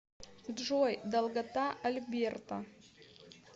джой долгота альберта